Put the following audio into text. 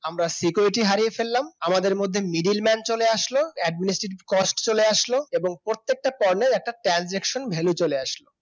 আমরা security হারিয়ে ফেললাম আমাদের মধ্যে middleman চলে আসলো administrative cost চলে আসলো এবং প্রত্যেকটা পণ্যের একটা transaction value চলে আসলো